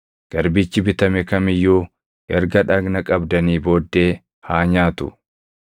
Garbichi bitame kam iyyuu erga dhagna qabdanii booddee haa nyaatu;